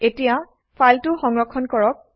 এতিয়া ফাইলটো সংৰক্ষণ কৰক